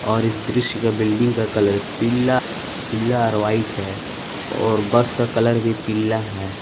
और इस दृश्य का बिल्डिंग का कलर पीला पीला और व्हाइट है और बस का कलर भी पीला है।